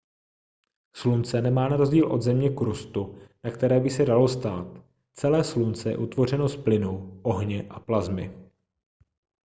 slunce nemá na rozdíl od země krustu na které by se dalo stát celé slunce je utvořeno z plynů ohně a plasmy